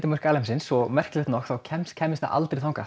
alheimsins og merkilegt nokk þá kæmist kæmist það aldrei þangað